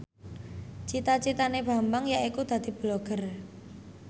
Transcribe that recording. cita citane Bambang yaiku dadi Blogger